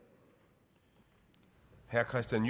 er